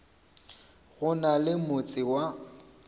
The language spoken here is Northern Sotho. go na le motse wa